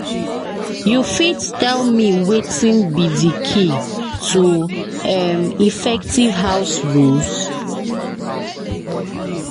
you fit tell me wetin be di key to um effective house rules?